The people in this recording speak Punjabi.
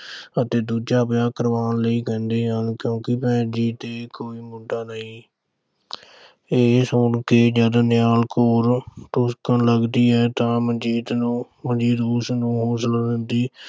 ਅਤੇ ਦੂਜਾ ਵਿਆਹ ਕਰਾਉਣ ਲਈ ਕਹਿੰਦੇ ਹਨ। ਕਿਉਂਕਿ ਭੈਣ ਜੀ ਦੇ ਕੋਈ ਮੁੰਡਾ ਨਹੀਂ ਇਹ ਸੁਣ ਕੇ ਜਦ ਨਿਹਾਲ ਕੌਰ ਡੁਸਕਣ ਲੱਗਦੀ ਹੈ ਤਾਂ ਮਨਜੀਤ ਨੂੰ ਅਹ ਮਨਜੀਤ ਉਸਨੂੰ ਹੌਸਲਾ ਦਿੰਦੀ।